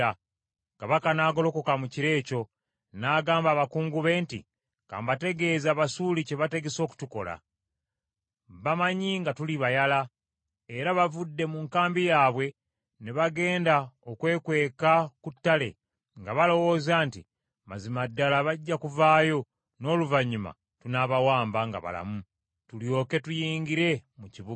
Kabaka n’agolokoka mu kiro ekyo, n’agamba abakungu be nti, “Ka mbategeeze Abasuuli kye bategese okutukola. Bamanyi nga tuli bayala; era bavudde mu nkambi yaabwe ne bagenda okwekweka ku ttale, nga balowooza nti, ‘Mazima ddala bajja kuvaayo, n’oluvannyuma tunaabawamba nga balamu, tulyoke tuyingire mu kibuga.’ ”